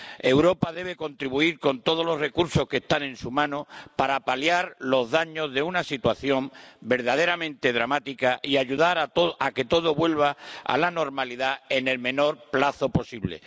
Europa debe contribuir con todos los recursos que están en su mano para paliar los daños de una situación verdaderamente dramática y ayudar a que todo vuelva a la normalidad en el menor plazo posible.